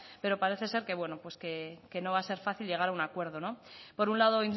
pero parece ser que bueno pues que no va a ser fácil llegar a un acuerdo por un lado